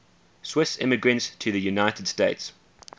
swiss immigrants to the united states